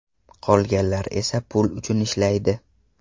Qolganlar esa pul uchun ishlaydi.